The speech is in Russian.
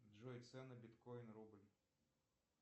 джой цены биткоин рубль